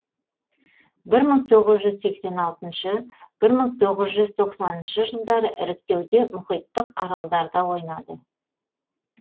бір мың тоғыз жүз сексен алтыншы бір мың тоғыз жүз тоқсаныншы жылдары іріктеуде мұхиттық аралдарда ойнады